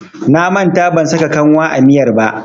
Na manta ban saka kanwa a miyar ba.